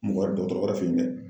Mɔgɔ wɛrɛ dɔgɔtɔrɔ wɛrɛ fɛ yen dɛ